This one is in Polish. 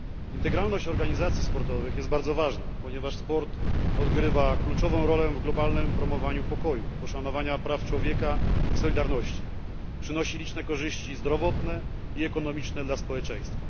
Integralność organizacji sportowych jest bardzo ważna, ponieważ sport odgrywa kluczową rolę w globalnym promowaniu pokoju, poszanowaniu praw człowieka i solidarności, przynosi liczne korzyści zdrowotne i ekonomiczne dla społeczeństwa.